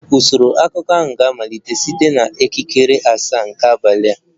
Usoro akụkọ ahụ ga-amalite site na elekere asaa nke abalị